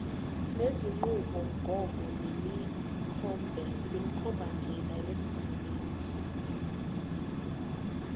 nezinqubomgomo nemikhombandlela yezabasebenzi